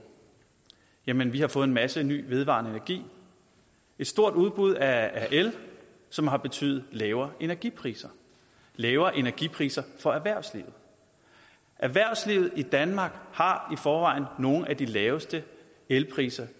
jamen vi har fået en masse ny vedvarende energi et stort udbud af el som har betydet lavere energipriser lavere energipriser for erhvervslivet erhvervslivet i danmark har i forvejen nogle af de laveste elpriser